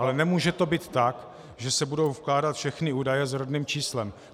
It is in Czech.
Ale nemůže to být tak, že se budou vkládat všechny údaje s rodným číslem.